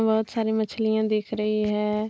बहुत सारी मछलियाँ दिख रही हैं।